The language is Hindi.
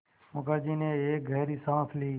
मुखर्जी ने एक गहरी साँस ली